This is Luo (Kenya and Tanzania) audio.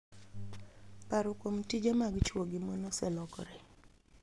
Paro kuom tije mag chwo gi mon oselokore